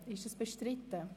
Ist dies bestritten?